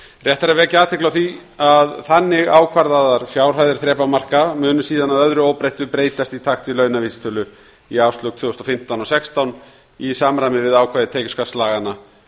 rétt er að vekja athygli á því að þannig ákvarðaðar fjárhæðir þrepamarka munu síðan að öðru óbreyttu breytast í takt við launavísitölu í árslok tvö þúsund og fimmtán og tvö þúsund og sextán í samræmi við ákvæði tekjuskattslaganna